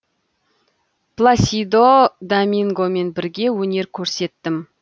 пласидо домингомен бірге өнер көрсеттім